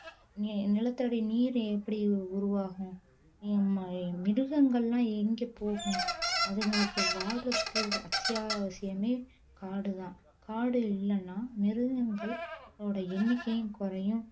நி~ நிலத்தடி நீர் எப்படி உருவாகும் மிருகங்கள் எல்லாம் எங்க போகும் அதுங்களுக்கு வாழ்றதுக்கு அத்தியாவசியமே காடுதான் காடு இல்லைன்னா மிருகங்களுடைய எண்ணிக்கையும் குறையும்